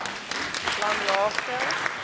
langlaagte